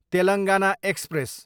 Telangana express